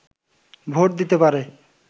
vote দিতে পারে